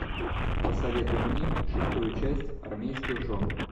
посоветуй мне шестую часть армейских жен